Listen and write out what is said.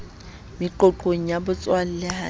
meqoqong ya botswalle ha le